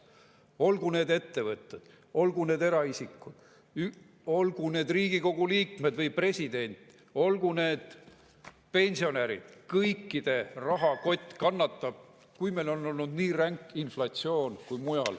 Olgu need ettevõtted, olgu need eraisikud, olgu need Riigikogu liikmed või president, olgu need pensionärid – kõikide rahakott kannatab, kui meil on olnud nii ränk inflatsioon.